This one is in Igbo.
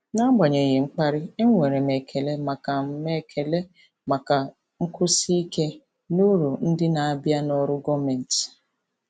N'agbanyeghị mkparị, enwere m ekele maka m ekele maka nkwụsi ike na uru ndị na-abịa na ọrụ gọọmentị.